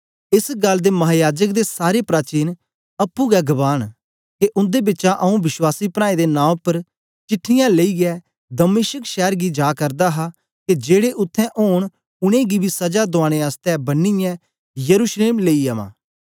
एस गल्ल दे महायाजक दे सारे प्राचीन अप्पुं गै गवाह न के उन्दे बिचा आंऊँ विश्वासी प्राऐं दे नां उपर चिट्ठीयां लेईयै दमिश्क शैर गी जा करदा हा के जेड़े उत्थें ओंन उनेंगी बी सजा दुआने आसतै बन्नीयै यरूशलेम लेई अवां